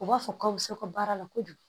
U b'a fɔ k'a bɛ se ka baara la kojugu